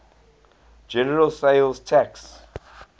general sales tax